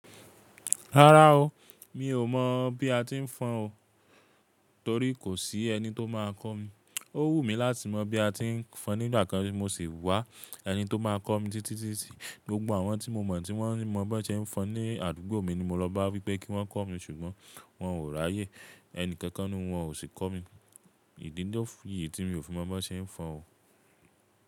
Rárá o, mi ò mọ̀ bí a ti ń fọ́n o torí kò sí ẹni tó má a kọ́ mi. Ó wù mí láti mọ̀ bí a ti ń fọ́n nígbà kan mo sì wá ẹni tó má a kọ́ mi títí títí. Gbogbo àwọn tí mo mọ̀ tí wọ́n mọ bí ẹsẹ̀ ń fọ́n ní àdúgbò mi ni mo lọ bá wípé kí wọ́n kọ́ mi ṣùgbọ́n wọn ò ráyè. Ẹni kankan nínú wọn ò sì kọ́ mi. Ìdí lo fi etí mi ò fi mọ bí ẹsẹ̀ ń fọ́n o.